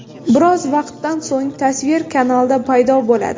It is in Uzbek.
Biroz vaqtdan so‘ng tasvir kanalda paydo bo‘ladi.